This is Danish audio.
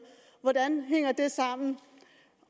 hvordan hænger det sammen